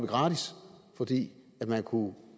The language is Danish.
gratis fordi man kunne